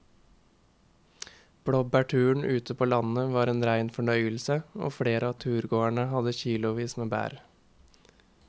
Blåbærturen ute på landet var en rein fornøyelse og flere av turgåerene hadde kilosvis med bær.